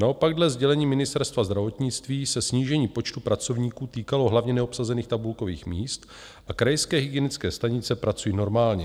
Naopak dle sdělení Ministerstva zdravotnictví se snížení počtu pracovníků týkalo hlavně neobsazených tabulkových míst a krajské hygienické stanice pracují normálně.